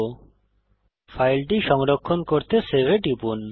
এখন ফাইলটি সংরক্ষণ করতে সেভ বোতামে টিপুন